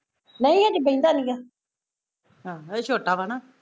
ਨਹੀਂ ਅਜੇ ਬਹਿੰਦਾ ਨੀਗਾ